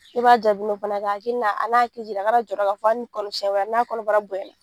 I b'a ja u bolo fana k'a hakili n'a a n'a hakili jira a kana jɔrɔ k'a fɔ hali ni kɔnɔ siɲɛ wɛrɛ n'a kɔnɔbara bonyana